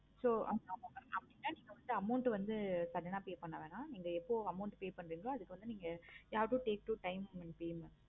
so amount லாம் pay பண்ண வேண்டாம். நீங்க எப்போ amount pay பன்றிங்களோ அதுக்கு வந்து நீங்க